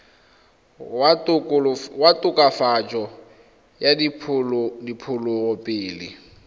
wa tokafatso ya diphologolo pele